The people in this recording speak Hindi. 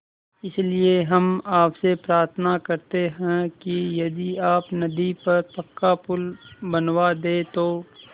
इसलिए हम आपसे प्रार्थना करते हैं कि यदि आप नदी पर पक्का पुल बनवा दे तो